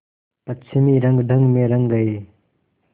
पश्चिमी रंगढंग में रंग गए